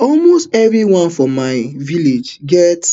almost evri one for my village get